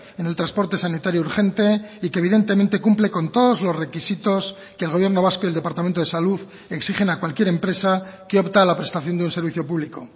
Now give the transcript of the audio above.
en el transporte sanitario urgente y que evidentemente cumple con todos los requisitos que el gobierno vasco y el departamento de salud exigen a cualquier empresa que opta a la prestación de un servicio público